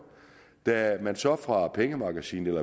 da man så fra pengemagasinets